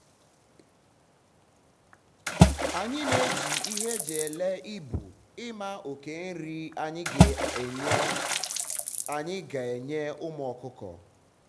anyi na eji ihe eji ele ibu ima oke nri anyi ga anyi ga enye ụmụ ọkụkọ